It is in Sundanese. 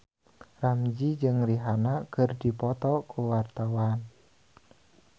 Ramzy jeung Rihanna keur dipoto ku wartawan